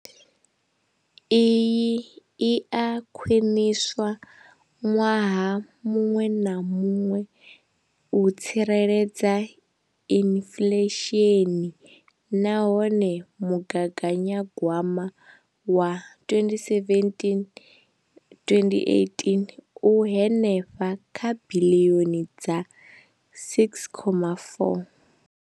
Iyi i a khwiniswa ṅwaha muṅwe na muṅwe u tsireledza inflesheni nahone mugaganya gwama wa 2017,2018 u henefha kha biḽioni dza R6.4.